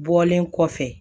Bɔlen kɔfɛ